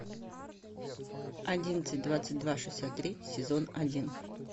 одиннадцать двадцать два шестьдесят три сезон один